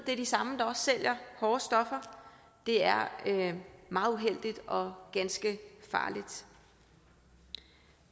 det er de samme der også sælger hårde stoffer det er meget uheldigt og ganske farligt